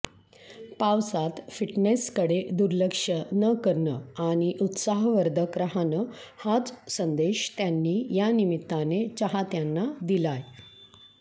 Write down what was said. पावसात फिटनेसकडे दुर्लक्ष न करणं आणि उत्साहवर्धक राहणं हाच संदेश त्यांनी यानिमित्ताने चाहत्यांना दिलाय